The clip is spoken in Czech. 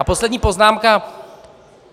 A poslední poznámka.